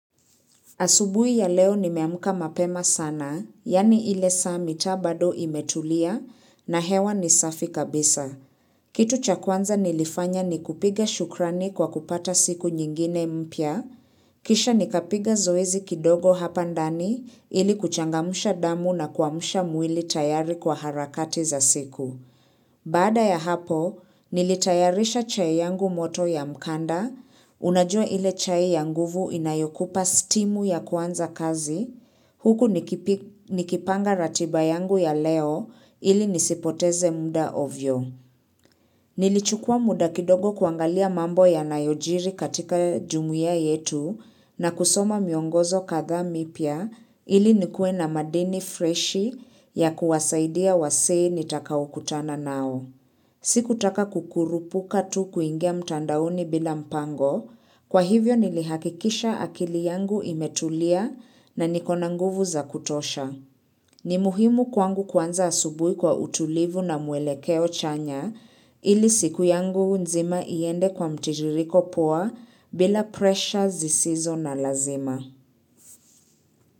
Asubuhi ya leo nimeamuka mapema sana, yani ile saa mitaa bado imetulia na hewa ni safi kabisa. Kitu cha kwanza nilifanya ni kupiga shukrani kwa kupata siku nyingine mpya, kisha nikapiga zoezi kidogo hapa ndani ili kuchangamusha damu na kwamusha mwili tayari kwa harakati za siku. Bada ya hapo, nilitayarisha chai yangu moto ya mkanda, unajua ile chai yanguvu inayokupa stimu ya kuanza kazi, huku nikipanga ratiba yangu ya leo ili nisipoteze muda ovyo. Nilichukua muda kidogo kuangalia mambo ya nayojiri katika jumuiya yetu na kusoma miongozo kadhaa mipya ili nikue na madini freshi ya kuwasaidia wazee nitakao kutana nao. Siku taka kukurupuka tu kuingia mtandaoni bila mpango, kwa hivyo nilihakikisha akili yangu imetulia na niko na nguvu za kutosha. Ni muhimu kwangu kuanza asubui kwa utulivu na mwelekeo chanya ili siku yangu nzima iende kwa mtitiriko poa bila pressure zisizo na lazima.